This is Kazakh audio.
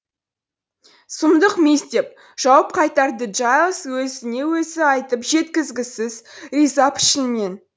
сұмдық мисс деп жауап қайтарды джайлс өзіне өзі айтып жеткізгісіз риза пішінмен